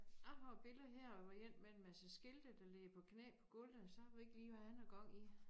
Jeg har et billede her hvor én med en masse skilte der ligger på knæ på gulvet sørme ikke lige hvad han har gang i